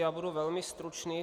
Já budu velmi stručný.